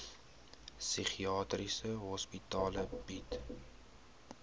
psigiatriese hospitale bied